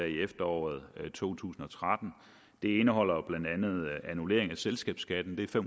i efteråret to tusind og tretten det indeholder jo blandt andet annullering af selskabsskattelettelsen